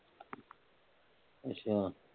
ਅੱਛਾ